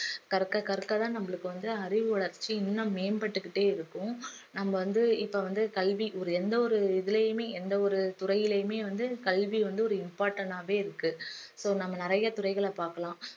கற்க கற்க தான் நம்மளுக்கு வந்து அறிவு வளர்ச்சி இன்னும் மேம்பட்டுக்கிட்டே இருக்கும் நம்ம வந்து இப்ப வந்து கல்வி ஒரு எந்த ஒரு இதுலயுமே எந்த ஒரு துறையிலயுமே வந்து கல்வி வந்து ஒரு important ஆவே இருக்கு so நம்ம நிறைய துறைகளை பார்க்கலாம்